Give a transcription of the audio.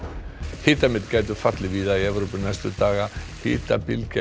hitamet gætu fallið víða í Evrópu næstu daga í hitabylgju